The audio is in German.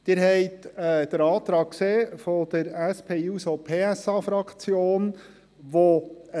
Sie haben den Antrag der SP-JUSO-PSA-Fraktion gesehen.